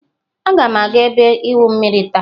Agam aga ebe igwu mmiri taa.